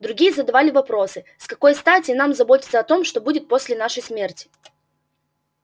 другие задавали вопросы с какой стати нам заботиться о том что будет после нашей смерти